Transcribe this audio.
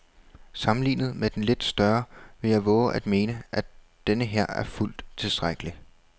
Sammenlignet med den lidt større vil jeg vove at mene, at denneher er fuldt tilstrækkelig.